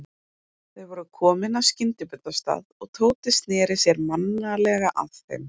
Þau voru komin að skyndibitastað og Tóti sneri sér mannalega að þeim.